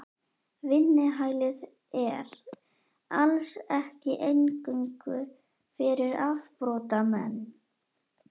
Vinnuhælið er. alls ekki eingöngu fyrir afbrotamenn.